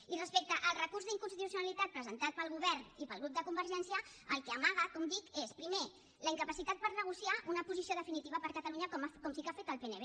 i respecte al recurs d’inconstitucionalitat presentat pel govern i pel grup de convergència el que amaga com dic és primer la incapacitat per negociar una posició definitiva per a catalunya com sí que ha fet el pnb